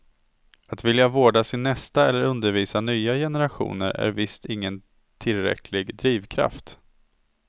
Att vilja vårda sin nästa eller undervisa nya generationer är visst ingen tillräcklig drivkraft.